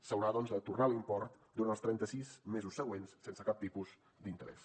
s’haurà doncs de tornar l’import durant els trenta sis mesos següents sense cap tipus d’interès